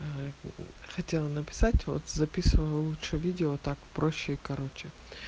хотела написать вот записывала лучше видео так проще и короче